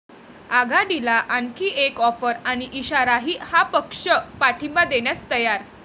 आघाडीला आणखी एक ऑफर आणि इशाराही, 'हा' पक्ष पाठिंबा देण्यास तयार